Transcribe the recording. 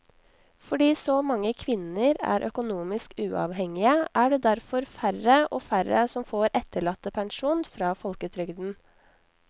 Fordi så mange kvinner er økonomisk uavhengige er det derfor færre og færre som får etterlattepensjon fra folketrygden.